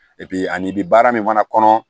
ani bi baara min fana kɔnɔ